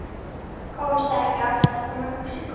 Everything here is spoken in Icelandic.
Komst ekki aftur frá Mexíkó